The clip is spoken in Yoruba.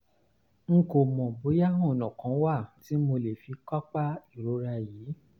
n kò mọ̀ bóyá ọ̀nà kán wà tí mo fi lè kápá ìrora yìí